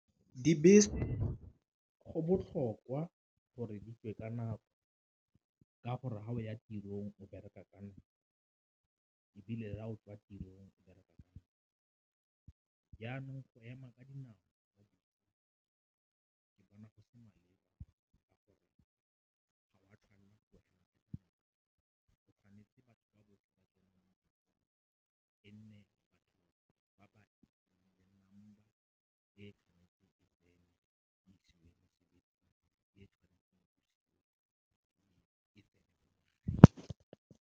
Dibese go botlhokwa gore di tswe ka nako ka gore ga o ya tirong o bereka ka nako ebile fa o tswa tirong o bereka ka nako, jaanong go ema ka dinao ke bona go se maleba ka gore ga o a tshwanela go ema o tshwanetse .